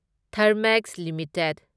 Thermax limited